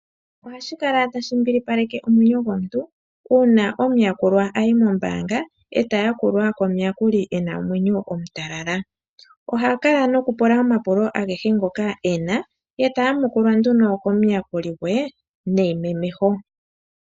Ohashi kala tashi mbilipaleke omwenyo gomuntu uuna omuyakulwa a yi mombaanga, e ta yakulwa komuyakuli e na omwenyo omutalala. Oha kala nokupula omapulo agehe ngoka e na, e ta yamukulwa ano komuyakuli gwe neimemeho.